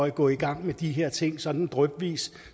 at gå i gang med de her ting sådan drypvis